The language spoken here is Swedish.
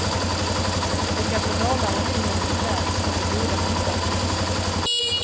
Den gamle målaren i honom gläds åt det goda hantverket.